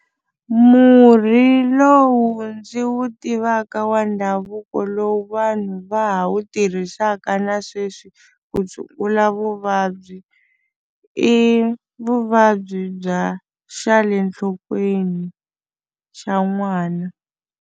Murhi lowu ndzi wu tivaka wa ndhavuko lowu vanhu va ha wu tirhisaka na sweswi ku tshungula vuvabyi i vuvabyi bya xa le nhlokweni xa n'wana.